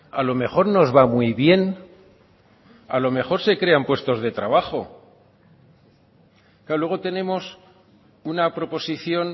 a lo mejor nos va muy bien a lo mejor se crean puestos de trabajo luego tenemos una proposición